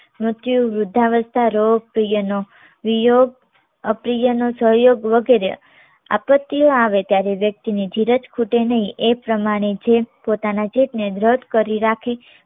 મૃત્યુ વૃદ્ધાવસ્થા રોગ પ્રિયનો વિયોગ અપ્રિય નો સહયોગ વગેરે આપત્તિઓ આવે ત્યારે વ્યક્તિ ને ધીરજ ખૂટે નહિ એ પ્રમાણે જે પોતના જીત ને દ્રઢ કરી રાખી